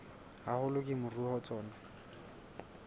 haholo ke moruo wa tsona